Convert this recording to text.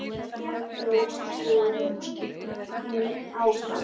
Svo hljóp hún áfram.